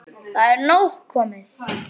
Það er nóg komið.